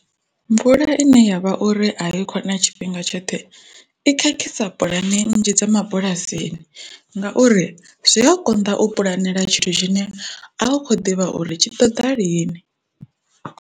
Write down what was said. Mvula ine yavha uri a yi kho na tshifhinga tshoṱhe i khakhisa pulani nnzhi dza mabulasini ngauri zwi a konḓa u pulanela tshithu tshine a hu kho ḓivha uri tshi ṱoḓa lini.